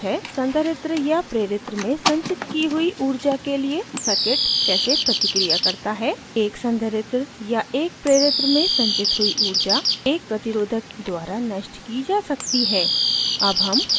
transient response हैसंधारित्र या प्रेरित्र में संचित की हुई ऊर्जा के लिए circuit कैसे प्रतिक्रिया करता है